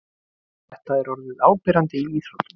Þetta er orðið áberandi í íþróttum.